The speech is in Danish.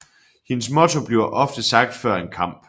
Hendes motto bliver ofte sagt før en kamp